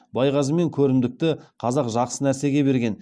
байғазы мен көрімдікті қазақ жақсы нәрсеге берген